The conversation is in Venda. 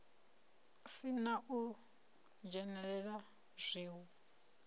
si na u dzhenelela zwiwo